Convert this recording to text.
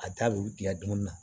A da bɛ tigɛ donni na